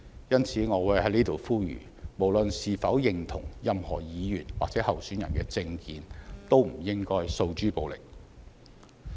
因此，我在此呼籲，無論是否認同任何議員或候選人的政見，都不應該訴諸暴力。